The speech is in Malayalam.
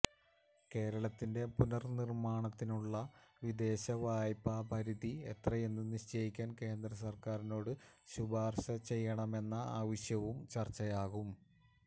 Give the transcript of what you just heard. കേരളത്തിന്റെ പുനര് നിര്മാണത്തിനുള്ള വിദേശ വായ്പ പരിധി എത്രയെന്ന് നിശ്ചയിക്കാന് കേന്ദ്രസര്ക്കാരിനോട് ശിപാര്ശ ചെയ്യണമെന്ന ആവശ്യവും ചര്ച്ചയാകും